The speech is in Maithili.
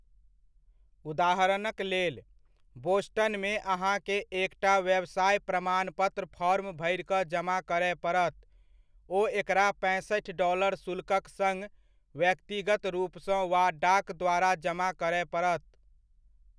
उदाहरणक लेल, बोस्टनमे अहाँकेँ एकटा व्यवसाय प्रमाणपत्र फॉर्म भरि कऽ जमा करय पड़त, ओ एकरा पैंसठि डॉलर शुल्कक सङ्ग व्यक्तिगत रूपसँ वा डाक द्वारा जमा करय पड़त।